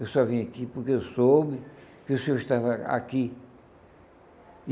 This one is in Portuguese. Eu só vim aqui porque eu soube que o senhor estava aqui.